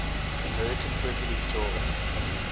american president george